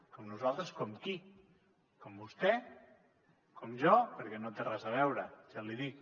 com nosaltres com qui com vostè com jo perquè no té res a veure ja l’hi dic